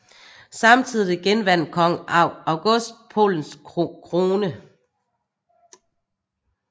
Samtidig genvandt kong August Polens krone